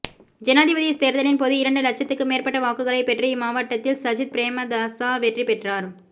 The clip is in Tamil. ஜனாதிபதித் தேர்தலின்போது இரண்டு இலட்சத்துக்கு மேற்பட்ட வாக்குகளைப்பெற்று இம்மாவட்டத்தில் சஜித் பிரேமதாச வெற்றிபெற்றார்